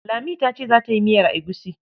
Lami ta ce za ta yi miyar egusi